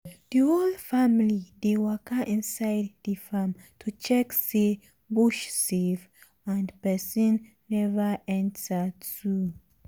the whole family dey waka inside the um farm to check say bush safe um and person never enter um too.